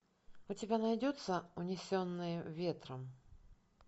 у тебя найдется унесенные ветром